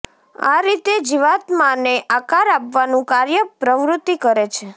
આ રીતે જીવાત્માને આકાર આપવાનું કાર્ય પ્રવૃત્તિ કરે છે